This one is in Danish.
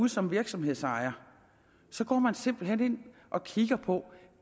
som virksomhedsejer simpelt hen går og kigger på